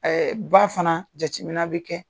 Ba fana jacimina bɛ kɛ.